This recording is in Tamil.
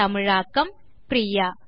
தமிழாக்கம் பிரியா